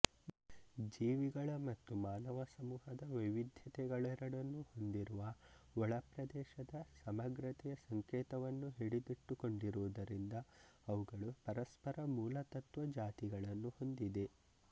ಜೀವಿಗಳ ಮತ್ತು ಮಾನವ ಸಮೂಹದ ವೈವಿದ್ಯತೆಗಳೆರಡನ್ನೂ ಹೊಂದಿರುವ ಒಳಪ್ರದೇಶದ ಸಮಗ್ರತೆಯ ಸಂಕೇತವನ್ನು ಹಿಡಿದಿಟ್ಟುಕೊಂಡಿರುವುದರಿಂದ ಅವುಗಳು ಪರಸ್ಪರ ಮೂಲತತ್ವ ಜಾತಿಗಳನ್ನು ಹೊಂದಿದೆ